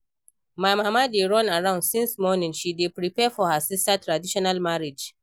My mama dey run around since morning, she dey prepare for her sister traditional marriage